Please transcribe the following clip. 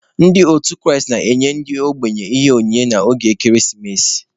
Ndị otu Kraịst na-enye ndị ogbenye Ihe onyinye n'oge ekeresimesi.